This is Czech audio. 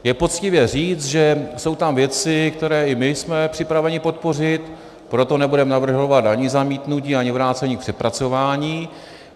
Je poctivé říct, že jsou tam věci, které i my jsme připraveni podpořit, proto nebudeme navrhovat ani zamítnutí, ani vrácení k přepracování.